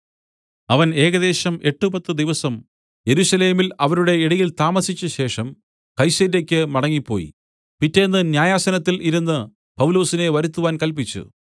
അവൻ ഏകദേശം എട്ട് പത്തു ദിവസം യെരുശലേമിൽ അവരുടെ ഇടയിൽ താമസിച്ചശേഷം കൈസര്യയ്ക്ക് മടങ്ങിപ്പോയി പിറ്റെന്ന് ന്യായാസനത്തിൽ ഇരുന്ന് പൗലൊസിനെ വരുത്തുവാൻ കല്പിച്ചു